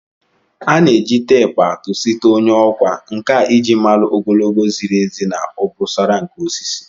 A na-eji teepu atụ site onye okwa nka iji malu ogologo ziri ezi na obosara nke osisi